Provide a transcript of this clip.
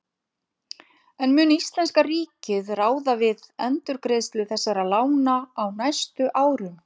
En mun íslenska ríkið ráða við endurgreiðslu þessara lána á næstu árum?